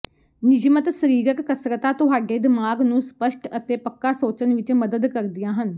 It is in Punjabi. ਨਿਯਮਤ ਸਰੀਰਕ ਕਸਰਤਾਂ ਤੁਹਾਡੇ ਦਿਮਾਗ ਨੂੰ ਸਪੱਸ਼ਟ ਅਤੇ ਪੱਕਾ ਸੋਚਣ ਵਿੱਚ ਮਦਦ ਕਰਦੀਆਂ ਹਨ